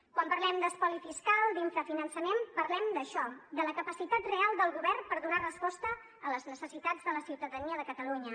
quan parlem d’espoli fiscal d’infrafinançament parlem d’això de la capacitat real del govern per donar resposta a les necessitats de la ciutadania de catalunya